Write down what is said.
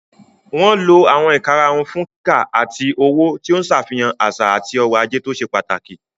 Wọ́n lo àwọn ìkarahun fún kíkà àti òwò, tí ó ń ṣàfihàn àṣà àti ọrọ̀ ajé tó ṣe pàtàkì.